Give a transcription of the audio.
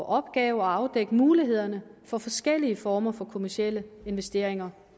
opgave at afdække mulighederne for forskellige former for kommercielle investeringer